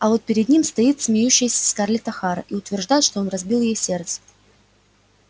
а вот перед ним стоит смеющаяся скарлетт охара и утверждает что он разбил ей сердце